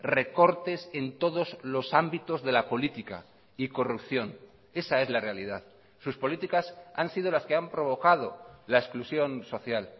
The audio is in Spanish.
recortes en todos los ámbitos de la política y corrupción esa es la realidad sus políticas han sido las que han provocado la exclusión social